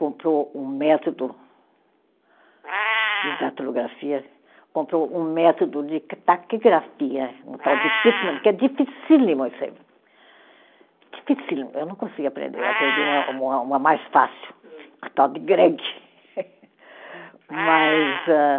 comprou um método de datilografia, comprou um método de ca taquigrafia, um tal de Pittman, que é dificílimo isso aí, dificílimo, eu não consegui aprender, eu aprendi uma uma, uma mais fácil, uma tal de Gregg. Mas a